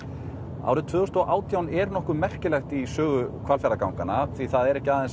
árið tvö þúsund og átján er nokkuð merkilegt í sögu Hvalfjarðarganganna því það er ekki aðeins